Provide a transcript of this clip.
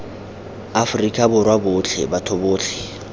afrika borwa botlhe batho botlhe